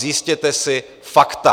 Zjistěte si fakta.